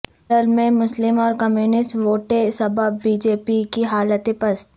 کیرل میں مسلم اور کمیونسٹ ووٹ ے سبب بی جے پی کی حالت پست